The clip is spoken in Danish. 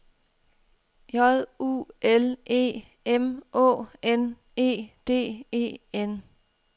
J U L E M Å N E D E N